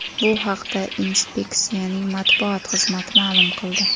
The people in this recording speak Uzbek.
Bu haqda inspeksiyaning matbuot xizmati ma’lum qildi.